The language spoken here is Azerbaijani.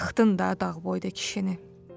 Yıxdın da dağ boyda kişini.